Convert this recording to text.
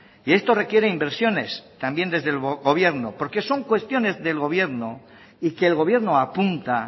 y esto requiere inversiones también desde el gobierno porque son cuestiones del gobierno y que el gobierno apunta